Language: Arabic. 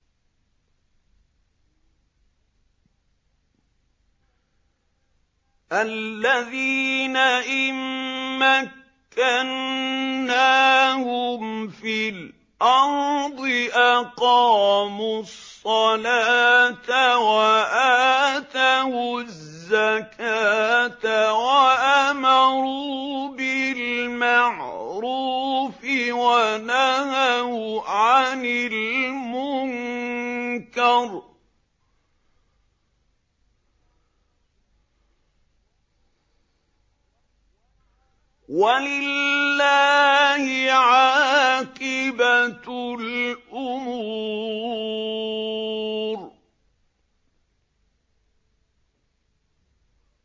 الَّذِينَ إِن مَّكَّنَّاهُمْ فِي الْأَرْضِ أَقَامُوا الصَّلَاةَ وَآتَوُا الزَّكَاةَ وَأَمَرُوا بِالْمَعْرُوفِ وَنَهَوْا عَنِ الْمُنكَرِ ۗ وَلِلَّهِ عَاقِبَةُ الْأُمُورِ